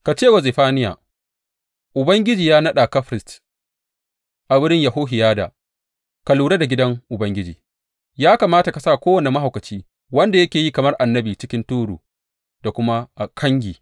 Ka ce wa Zefaniya, Ubangiji ya naɗa ka firist a wurin Yehohiyada don ka lura da gidan Ubangiji; ya kamata ka sa kowane mahaukaci wanda yake yi kamar annabi cikin turu da kuma a kangi.